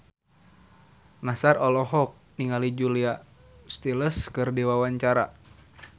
Nassar olohok ningali Julia Stiles keur diwawancara